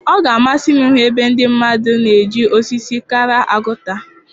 Ọ ga-amasị m ịhụ ebe ndị mmadụ na-eji osisi akara agụta.